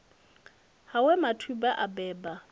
ha we mathubwa a beba